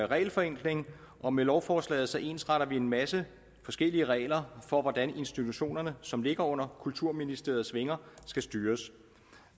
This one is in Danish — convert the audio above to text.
regelforenkling og med lovforslaget ensretter vi en masse forskellige regler for hvordan institutionerne som ligger under kulturministeriets vinger skal styres